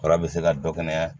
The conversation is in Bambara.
Ala bɛ se ka dɔ kɛ yan